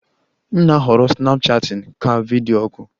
M na-ahọrọ Snapchatting ka video oku